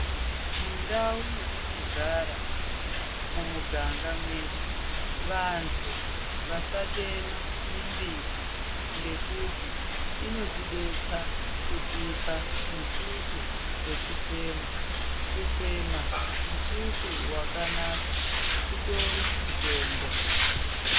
Mundau mwetinogara mumiganga mwedu vanhu vasatema mimbiti ngekuti inotidetsera kutipa mututu wekufema, kufema mututu wakanaka utori mutombo.